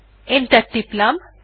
enter টিপলাম